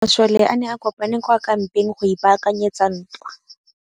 Masole a ne a kopane kwa kampeng go ipaakanyetsa ntwa.